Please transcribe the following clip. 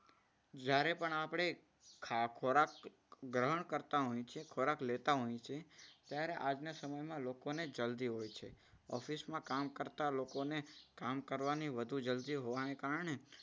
જ્યારે પણ આપણે ખોરાક ગ્રહણ કરતા હોય છે, ખોરાક લેતા હોય છે. ત્યારે આજના સમયમાં લોકો ને જલ્દી હોય છે. ઓફિસમાં કામ કરતા લોકોને કામ કરવાની વધુ જલ્દી હોવાને કારણે